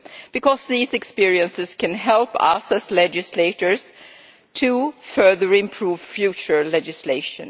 because these experiences can help us as legislators to further improve future legislation.